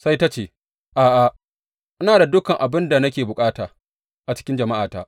Sai ta ce, A’a, ina da dukan abin da nake bukata a cikin jama’ata.